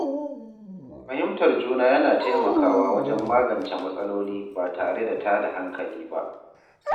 Fahimtar juna yana taimakawa wajen magance matsaloli ba tare da tada hankali ba.